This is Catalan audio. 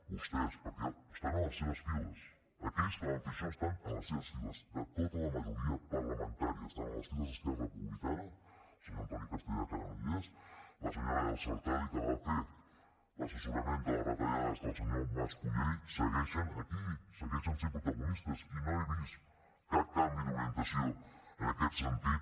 vostès perquè estan a les seves files aquells que van fer això estan a les seves files de tota la majoria parlamentària estan a les files d’esquerra republicana el senyor antoni castellà que ara no hi és la senyora elsa artadi que va fer l’assessorament de les retallades del senyor mas colell segueixen aquí segueixen sent protagonistes i no he vist cap canvi d’orientació en aquest sentit